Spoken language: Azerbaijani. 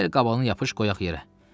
Gəl qabanı yapış qoyaq yerə.